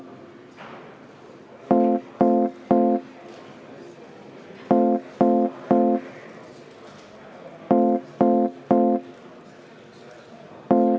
Vaheaeg seitse minutit.